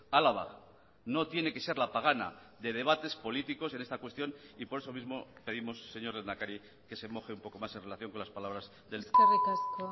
álava no tiene que ser la pagana de debates políticos en esta cuestión y por eso mismo pedimos señor lehendakari que se moje un poco más en relación con las palabras del eskerrik asko